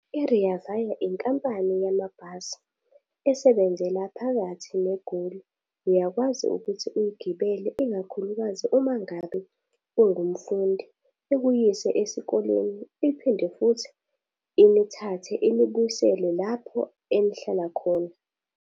I-Rea Vaya inkampani yamabhasi esebenzela phakathi neGoli. Uyakwazi ukuthi uyigibele, ikakhulukazi uma ngabe ungumfundi, ikuyise esikoleni, iphinde futhi inithathe inibuyisele lapho enihlala khona.